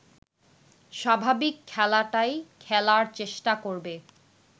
স্বাভাবিক খেলাটাই খেলার চেষ্টা করবে